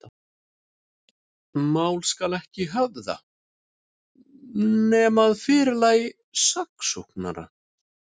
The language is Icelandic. Mál skal ekki höfða, nema að fyrirlagi saksóknara.